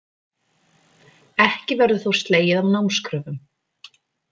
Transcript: Ekki verður þó slegið af námskröfum